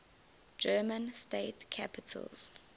german state capitals